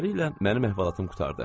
Beləliklə mənim əhvalatım qurtardı.